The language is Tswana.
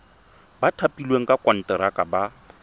ba thapilweng ka konteraka ba